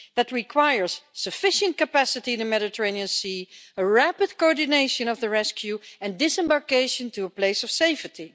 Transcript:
That requires sufficient capacity in the Mediterranean Sea, rapid coordination of the rescue, and disembarkation to a place of safety.